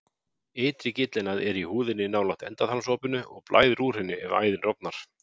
Ytri gyllinæð er í húðinni nálægt endaþarmsopinu og blæðir úr henni ef æðin rofnar.